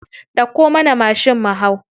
Dauko mana mashin mu hau.